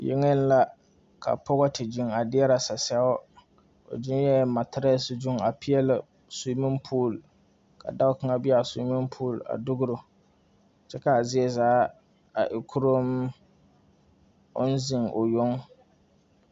Yɛŋe la ka pɔgɔ te zeŋ a dierɛ sɛsɛo. O zeŋe materɛs zu a pieli sumipool. Ka dɔɔ kanga be a sumipool a dugro. Kyɛ ka a zie zaa a e kuromm. Oŋ zeŋ o yoŋ